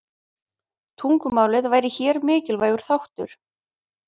Tungumálið væri hér mikilvægur þáttur.